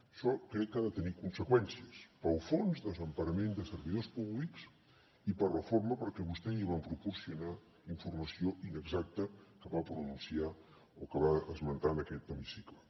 això crec que ha de tenir conseqüències pel fons de desemparament de servidors públics i per la forma perquè a vostè li van proporcionar informació inexacta que va pronunciar o que va esmentar en aquest hemicicle